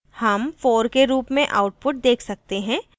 हम 4 के रूप में output देख सकते हैं